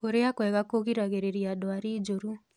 Kũrĩa kwega kũgĩragĩrĩrĩa ndwarĩ njũrũ